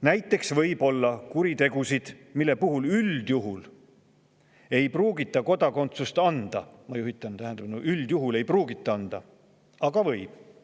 Näiteks võib olla kuritegusid, mille puhul ei pruugita üldjuhul kodakondsust anda – ma juhin tähelepanu, et üldjuhul ei pruugita anda –, aga võib.